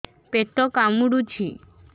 ପେଟ କାମୁଡୁଛି